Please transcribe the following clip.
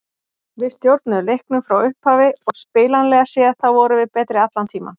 Við stjórnuðum leiknum frá upphafi og spilanlega séð þá vorum við betri allan tímann.